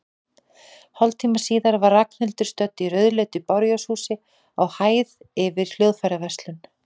Hálftíma síðar var Ragnhildur stödd í rauðleitu bárujárnshúsi, á hæð yfir hljóðfæraverslun.